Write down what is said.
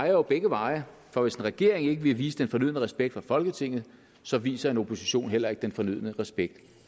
jo begge veje for hvis en regering ikke vil vise den fornødne respekt for folketinget så viser en opposition heller ikke den fornødne respekt